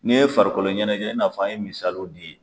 N'i ye farikolo ɲɛnajɛ i n'a fɔ an ye misaliw di